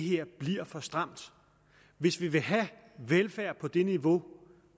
det her bliver for stramt hvis vi vil have velfærd på det niveau